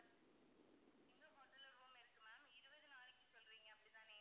எங்க hotel ல்ல room இருக்கு ma'am இருபது நாளைக்கு சொல்றீங்க அப்படிதானே?